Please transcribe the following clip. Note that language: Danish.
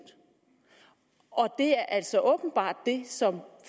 og det er altså åbenbart det som